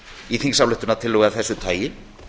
í þingsályktunartillögu af þessu tagi